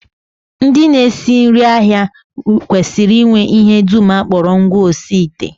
Ndị na-esi nri ahịa kwesịrị inwe ihe dum a kpọrọ ngwaosiite